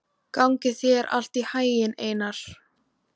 Gangi þér allt í haginn, Einar.